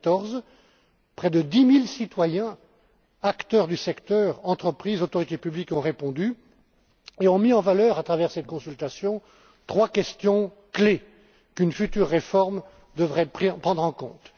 2014. Près de dix mille citoyens, acteurs du secteur, entreprises, autorités publiques, ont répondu et mis en valeur, à travers cette consultation, trois questions clefs qu'une future réforme devrait prendre en compte.